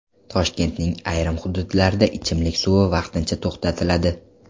Toshkentning ayrim hududlarida ichimlik suvi vaqtincha to‘xtatiladi.